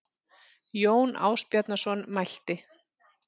Jón Ásbjarnarson mælti